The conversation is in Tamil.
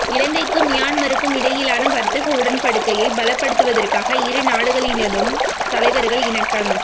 இலங்கைக்கும் மியன்மாருக்கும் இடையிலான வர்த்தக உடன்படிக்கையை பலப்படுத்துவதற்கு இரு நாடுகளினதும் தலைவர்கள் இணக்கம்